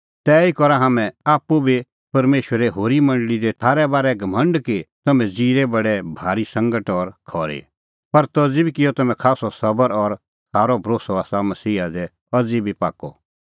तैही करा हाम्हैं आप्पू बी परमेशरे होरी मंडल़ी दी थारै बारै घमंड कि तम्हैं ज़िरै बडै भारी सांगट और खरी पर तज़ी बी किअ तम्हैं खास्सअ सबर और थारअ भरोस्सअ आसा मसीहा दी अज़ी बी पाक्कअ